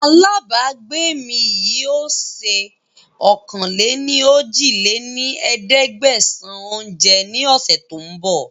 Àlábagbé mi yìí ó sé ọ̀kan-lé-ní-ojì lé ní ẹ̀ẹ́dẹ́gbẹ́sán oúnjẹ ní ọ̀sẹ̀ tòun bọ̀